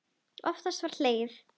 Oftast var hlegið.